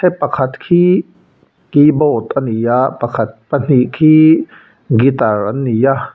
pakhat khi keyboard a ni a pakhat pahnih khi guitar an ni a.